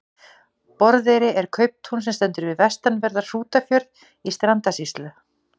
Borðeyri er kauptún sem stendur við vestanverðan Hrútafjörð í Strandasýslu.